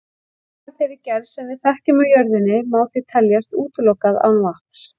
Líf af þeirri gerð sem við þekkjum á jörðinni má því teljast útilokað án vatns.